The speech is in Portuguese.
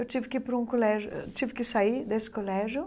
Eu tive que ir para um colégio ãh tive que sair desse colégio.